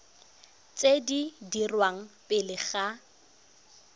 tse di dirwang pele ga